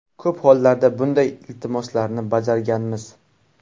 Ko‘p hollarda bunday iltimoslarni bajarganmiz.